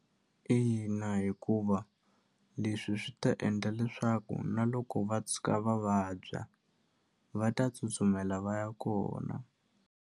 Ina, hikuva leswi swi ta endla leswaku na loko va tshuka va vabya va ta tsutsumela va ya kona.